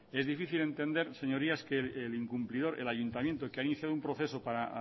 es difícil entender señorías que el incumplidor el ayuntamiento que ha iniciado un proceso para